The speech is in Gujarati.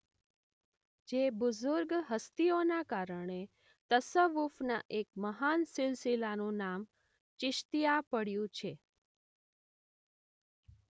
જે બુઝુર્ગ હસ્તીઓના કારણે તસવ્વુફના એક મહાન સિલસિલાનું નામ ચિશ્તીયા પડયું છે